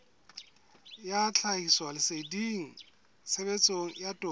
ya tlhahisoleseding tshebetsong ya toka